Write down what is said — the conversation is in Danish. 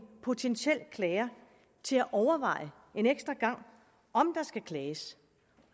potentiel klager til at overveje en ekstra gang om der skal klages